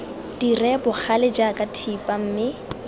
dire bogale jaaka thipa mme